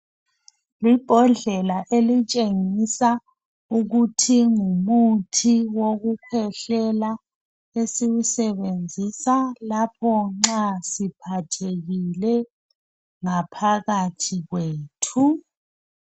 Libhodlela elitshengisa ukuthi ngumuthi wokukhwehlela esilisebenzisa lapho nxa siphathekile ngaphakathi kwethu.